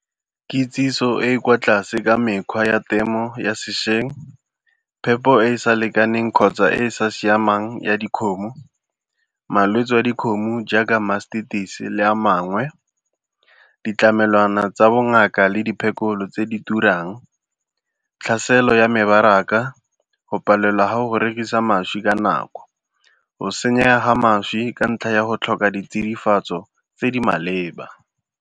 Kitsiso e e kwa tlase ka mekgwa ya temo ya sešweng, phepo e e sa lekaneng kgotsa e e sa siamang ya dikgomo, malwetsi a dikgomo jaaka Mastitis-e le a mangwe, ditlamelwana tsa bongaka le diphekolo tse di turang, tlhaselo ya mebaraka, go palelwa ga go rekisa mašwi ka nako, go senyega ga mašwi ka ntlha ya go tlhoka ditsidifatso tse di maleba.